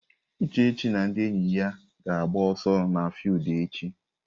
Uchechi na ndị enyi ya ga-agba ọsọ n'fiudu echi.